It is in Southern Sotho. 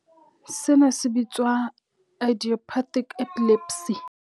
Sena he se bitswa idiopathic epilepsy.